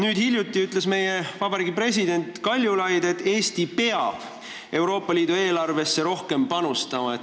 Ja hiljuti ütles ka meie vabariigi president Kaljulaid, et Eesti peab Euroopa Liidu eelarvesse rohkem panustama.